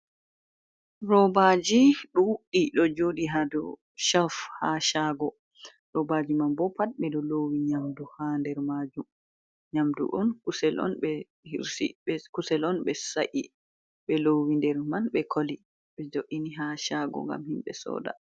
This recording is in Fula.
Robaaji ɗuɗɗi ɗo jooɗi haa shelve haa shago, roobaaji man boo pat ɓe ɓo loowi nyamndu haa nder maajum, nyamdu on kusel on ɓe sa’i ɓe loowi nder man ɓe koli ɓe jo''ini haa shago ngam himɓe sooda